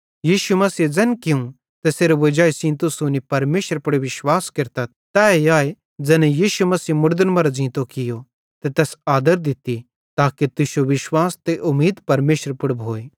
यीशु मसीहे ज़ैन कियूं तैसेरे वजाई सेइं तुस हुनी परमेशरे पुड़ विश्वास केरतथ तैए आए ज़ैने यीशु मसीह मुड़दन मरां ज़ींतो कियो ते तैस आदर दित्ती ताके तुश्शो विश्वास ते उमीद परमेशरे पुड़ भोए